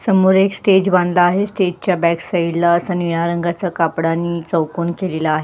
समोर एक स्टेज बांधला आहे स्टेज च्या बॅक साइड ला अस निळ्या रंगाचा कापडा आणि चौकोन केलेला आहे.